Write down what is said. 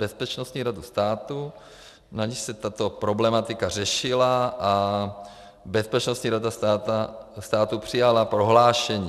Bezpečnostní radu státu, na níž se tato problematika řešila, a Bezpečnostní rada státu přijala prohlášení.